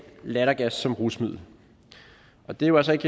lattergas som rusmiddel og det er jo altså ikke